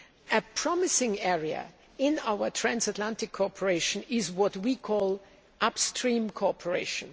A promising area in our transatlantic cooperation is what we call upstream cooperation.